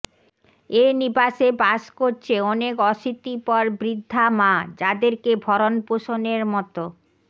এ নিবাসে বাস করছে অনেক অশীতিপর বৃদ্ধা মা যাদেরকে ভরণপোষণের মতো